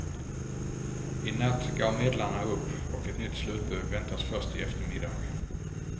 I natt gav medlarna upp och ett nytt slutbud väntas först i eftermiddag.